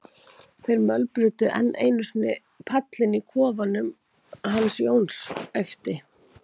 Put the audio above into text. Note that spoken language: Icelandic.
þeir mölbrutu enn einu sinni pallinn í kofanum hans Jóns, æpti